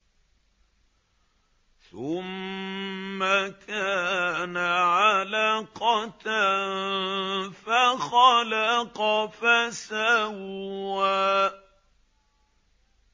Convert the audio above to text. ثُمَّ كَانَ عَلَقَةً فَخَلَقَ فَسَوَّىٰ